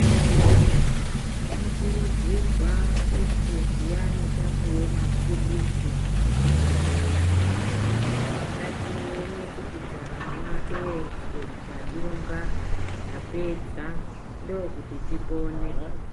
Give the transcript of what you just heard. Tinokurudzirwa kuti zviyane tapuwe maphilizi kuchibhedhleya, ngatione kuti tamwa eshe, tadunga, tapedza. Ndokuti tipone.